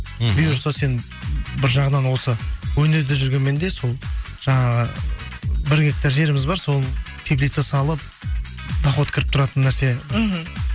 мхм бұйырса сен бір жағынан осы өнерде жүргенмен де сол жаңағы бір гектар жеріміз бар сол теплица салып доход кіріп тұратын нәрсе мхм